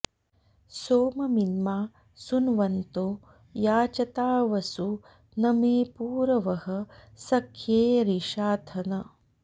सोममिन्मा सुन्वन्तो याचता वसु न मे पूरवः सख्ये रिषाथन